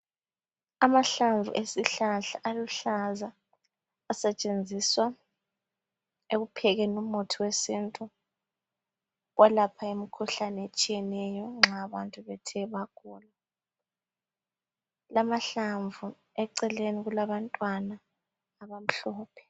amahlamvu esihlahla aluhlaza asetshenziswa ekuphekeni umuthi wesintu welapha imikhuhlane etshiyeneyo nxa abantu bethe bagula kulamahlamvu eceleni kulabantwana abamhlophe